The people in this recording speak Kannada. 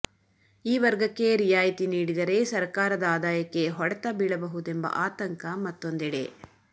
ಈ ವರ್ಗಕ್ಕೆ ರಿಯಾಯಿತಿ ನೀಡಿದರೆ ಸರಕಾರದ ಆದಾಯಕ್ಕೆ ಹೊಡೆತ ಬೀಳಬಹುದೆಂಬ ಆತಂಕ ಮತ್ತೂಂದೆಡೆ